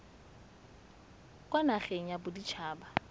kwa nageng ya bodit haba